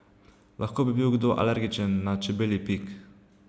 Lahko bi bil kdo alergičen na čebelji pik.